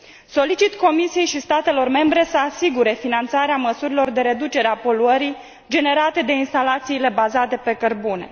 Solicit Comisiei și statelor membre să asigure finanțarea măsurilor de reducere a poluării generate de instalațiile bazate pe cărbune.